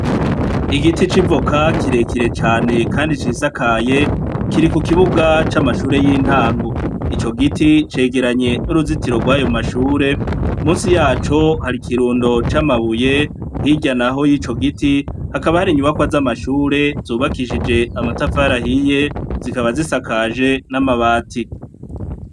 Igiti civoka kirekire cane, kandi cisakaye kiri ku kibuga c'amashure y'intangu ico giti cegeranye n'uruzitiro rw'ayo mashure musi yaco hari ikirundo c'amabuye hiryanaho y'ico giti hakaba hari inyubakwa z'amashure zubakishije amatafarahiye zikaba zisae akaje n'amabatiri.